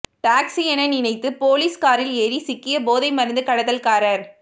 taxi என நினைத்து police காரில் ஏறி சிக்கிய போதைமருந்து கடத்தல்காரர்